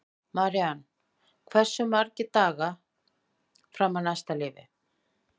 Marían, hversu margir dagar fram að næsta fríi?